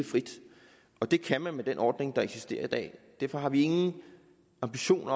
frit og det kan man med den ordning der eksisterer i dag derfor har vi ingen ambition